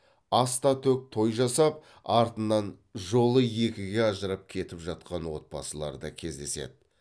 ас та төк той жасап артынан жолы екіге ажырап кетіп жатқан отбасылар да кездеседі